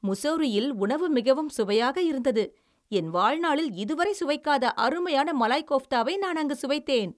முசோரியில் உணவு மிகவும் சுவையாக இருந்தது. என் வாழ்நாளில் இதுவரை சுவைக்காத அருமையான மலாய் கோஃப்தாவை நான் அங்கு சுவைத்தேன்.